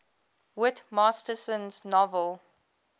whit masterson's novel